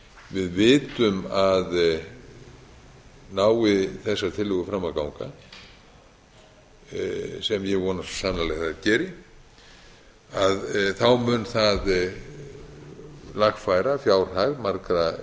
við vitum að nái þessar tillögur fram að ganga sem ég vona svo sannarlega að þær geri mun það lagfæra fjárhag margra